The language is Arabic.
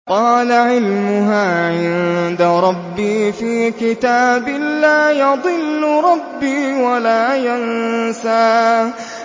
قَالَ عِلْمُهَا عِندَ رَبِّي فِي كِتَابٍ ۖ لَّا يَضِلُّ رَبِّي وَلَا يَنسَى